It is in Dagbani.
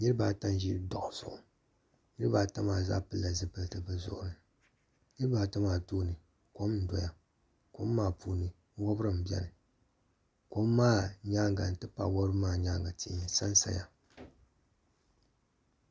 niriba ata n-ʒi dɔɣi zuɣu niriba ata maa zaa pili la zupiliti bɛ zuɣuni niriba ata maa tooni kom n-doya kom maa puuni wɔbiri m-beni kom maa nyaaga n-ti pahi wɔbiri nyaaga tihi n-sa sa ya.